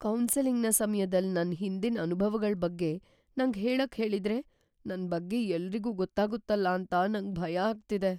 ಕೌನ್ಸೆಲಿಂಗ್‌ನ ಸಮ್ಯದಲ್ ನನ್ ಹಿಂದಿನ್ ಅನುಭವಗಳ್ ಬಗ್ಗೆ ನಂಗ್ ಹೇಳಕ್ ಹೇಳಿದ್ರೆ ನನ್ ಬಗ್ಗೆ ಎಲ್ರಿಗೂ ಗೊತ್ತಾಗುತ್ತಲ್ಲ ಅಂತ ನಂಗ್ ಭಯ ಆಗ್ತಿದೆ.